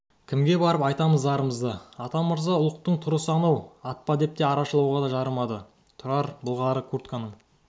кімге барып айтамыз зарымызды атамырза ұлықтың тұрысы анау атпа деп арашалауға да жарамады тұрар былғары куртканың